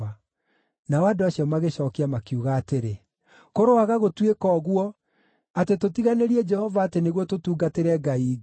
Nao andũ acio magĩcookia makiuga atĩrĩ, “Kũroaga gũtuĩka ũguo, atĩ tũtiganĩrie Jehova atĩ nĩguo tũtungatĩre ngai ingĩ!